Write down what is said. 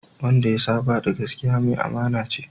Wanda ya saba da gaskiya, mai amana ce